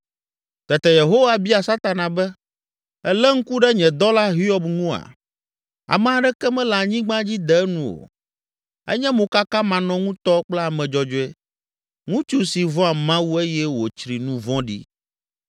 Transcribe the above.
Tete Yehowa bia Satana be, “Èlé ŋku ɖe nye dɔla Hiob ŋua? Ame aɖeke mele anyigba dzi de enu o; enye mokakamanɔŋutɔ kple ame dzɔdzɔe, ŋutsu si vɔ̃a Mawu eye wòtsri nu vɔ̃ɖi.”